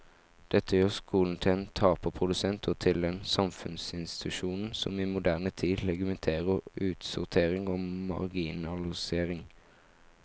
Dette gjør skolen til en taperprodusent og til den samfunnsinstitusjonen som i moderne tid legitimerer utsortering og marginalisering.